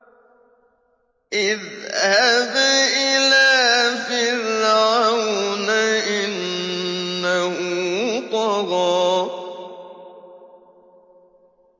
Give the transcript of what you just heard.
اذْهَبْ إِلَىٰ فِرْعَوْنَ إِنَّهُ طَغَىٰ